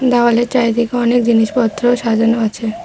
দেওয়ালের চারিদিকে অনেক জিনিসপত্র সাজানো আছে।